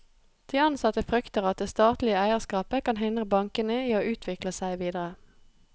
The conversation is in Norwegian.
De ansatte frykter at det statlige eierskapet kan hindre bankene i å utvikle seg videre.